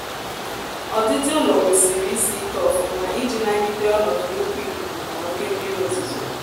ọdịdị ụlọ kwesịrị isị ike ofuma iji nagide ọnọdụ nnkwu ikuku na oke mmiri ozuzo